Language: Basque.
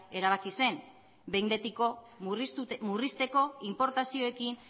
erabaki zen behin betiko murrizteko inportazioekin